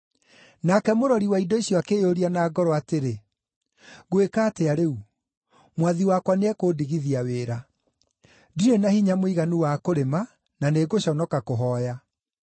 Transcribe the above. “Nake mũrori wa indo icio akĩĩyũria na ngoro atĩrĩ, ‘Ngwĩka atĩa rĩu? Mwathi wakwa nĩekũndigithia wĩra. Ndirĩ na hinya mũiganu wa kũrĩma, na nĩngũconoka kũhooya.